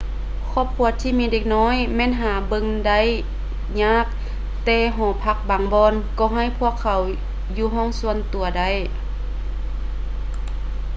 ຄອບຄົວທີ່ມີເດັກນ້ອຍແມ່ນຫາເບິ່ງໄດ້ຢາກແຕ່ຫໍພັກບາງບ່ອນກໍໃຫ້ພວກເຂົາຢູ່ຫ້ອງສ່ວນຕົວໄດ້